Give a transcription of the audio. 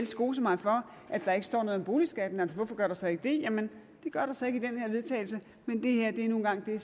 skose mig for at der ikke står noget om boligskatten hvorfor gør der så ikke det jamen det gør der så ikke i den her vedtagelse men det her er nu en gang det